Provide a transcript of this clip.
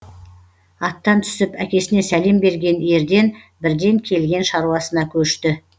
аттан түсіп әкесіне сәлем берген ерден бірден келген шаруасына көшті